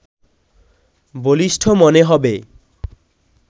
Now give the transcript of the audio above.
বলিষ্ঠ মনে হবে